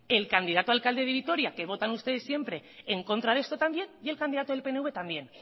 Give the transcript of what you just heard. el candidato a alcalde de vitoria que votan ustedes siempre en contra de esto también y el candidato del pnv también